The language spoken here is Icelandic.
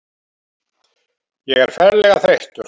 Ég er ferlega þreyttur.